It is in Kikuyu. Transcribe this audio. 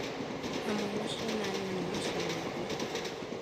hamwe na ciana nini na ciana ingĩ.